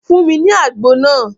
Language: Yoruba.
Fún mi ní àgbo náà